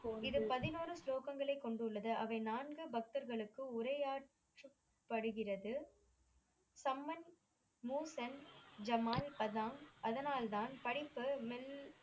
இது பதினோரு ஸ்லோகங்களை கொண்டு உள்ளது அவை நான்கு பக்தர்களுக்கு உரையாடுபடுகிறது சம்மன் மூந்தன் ஜமால் அஸான் அதனால் தான் படைப்பு